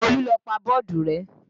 Olú ló pa bọ́ọ̀dù rẹ́